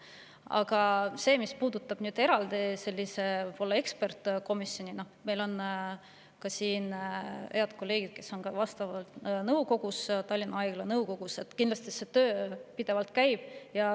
Aga mis puudutab eraldi ekspertkomisjoni, siis meil on ka siin head kolleegid, kes on Tallinna Haigla nõukogus, ja kindlasti see töö pidevalt käib.